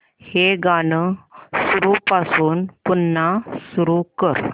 हे गाणं सुरूपासून पुन्हा सुरू कर